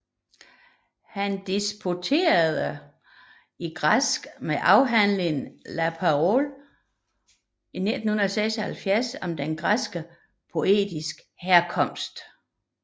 Han disputerede i græsk med afhandlingen La parole et le marbre i 1976 om den græske poetiks herkomst